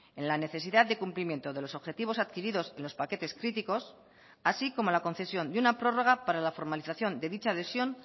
en la necesidad de cumplimiento de los objetivos adquiridos en los paquetes críticos así como la concesión de una prórroga para la formalización de dicha adhesión